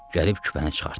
Gəlib küpəni çıxartdı.